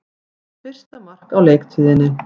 Hans fyrsta mark á leiktíðinni